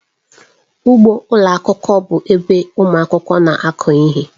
Ugbo ụlọ akwụkwọ bụ ebe ụmụ akwụkwọ na-akụ ihe.